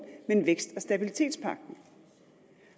men stabilitets